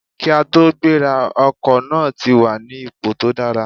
Kí a tó gbéra, ọkọ̀ náà ti wà ní ipò tó dára